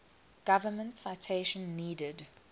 government citation needed